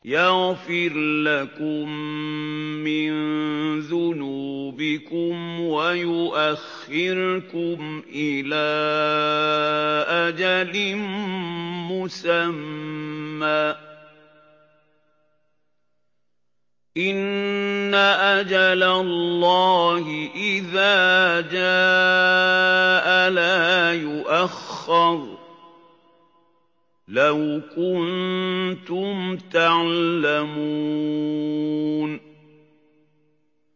يَغْفِرْ لَكُم مِّن ذُنُوبِكُمْ وَيُؤَخِّرْكُمْ إِلَىٰ أَجَلٍ مُّسَمًّى ۚ إِنَّ أَجَلَ اللَّهِ إِذَا جَاءَ لَا يُؤَخَّرُ ۖ لَوْ كُنتُمْ تَعْلَمُونَ